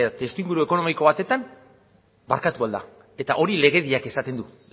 testuinguru ekonomiko batean barkatu ahal da eta horrek legediak esaten du